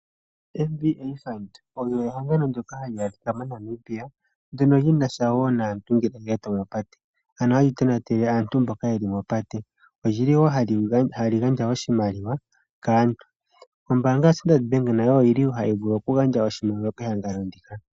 MVA Fund olyo ehangano ndyoka hali adhika moNamibia, ndyoka li na sha niiponga yomoondjila, ano hali tonatele aantu mboka taya longitha opate. ohali gandja wo oshimaliwa kaantu. Ombaanga yaStandard Bank nayo ohayi vulu okugandja oshimaliwa kehangano ndika.